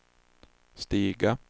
stiga